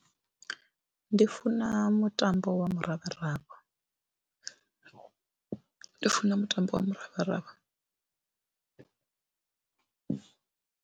Ndi funa mutambo wa muravharavha ndi funa mutambo wa muravharavha.